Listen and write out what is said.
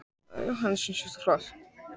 Jóhannes: Finnst þér þau vera flott?